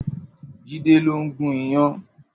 Jide ló n gún iyán